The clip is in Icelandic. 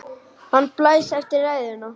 Hann blæs eftir ræðuna.